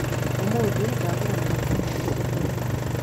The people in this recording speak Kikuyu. ũmũthĩ ndagũra mũgate mwerũ thokoinĩ.